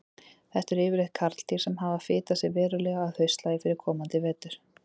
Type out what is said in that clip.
Þetta eru yfirleitt karldýr sem hafa fitað sig verulega að haustlagi fyrir komandi vetur.